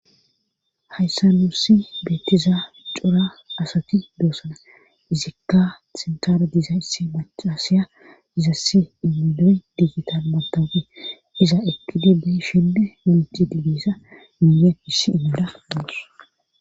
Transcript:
hayssa nuussi beettiza cora asati doosana izikka sintara dizayssi mach asiya izassi iminoy diigital matawpi iza ekkidibi shinde menti digissa miiya issi inyoda goos